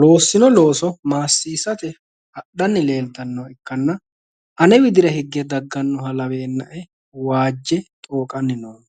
loossino looso maassiisate hadhanni leeltannoha ikkanna ane widira higge daggannoha laweennae waajje xooqanni noommo.